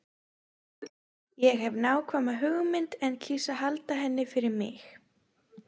Ég hef nákvæma hugmynd en kýs að halda henni fyrir mig.